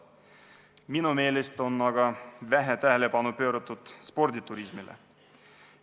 Minu meelest on aga vähe tähelepanu pööratud sporditurismile.